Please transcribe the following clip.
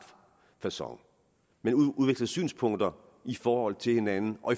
facon men udveksle synspunkter i forhold til hinanden og